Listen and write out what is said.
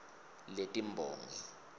letimbongi